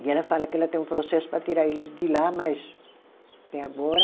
E ela fala que ela tem um processo para tirar eles de lá, mas até agora...